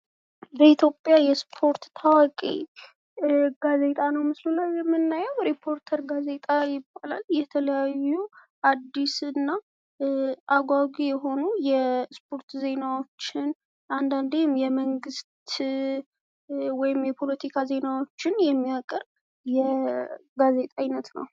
በኢትዮጵያ የስፖርት ታዋቂ ጋዜጣ ነው ምስሉ ላየ የምናየው። ረፖርተር ጋዜጣ ይባላል። ይህ የተለያዩ አዲስ እና አጓጊ የሆኑ የስፖርት ዜናወችን አንዳንዴም የመንግስት ወይም የፖለቲካ ዜናዎችን የሚያገርብ የጋዜጣ አይነት ነው።